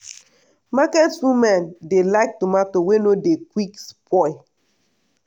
market women dey like tomato wey no dey quick spoil.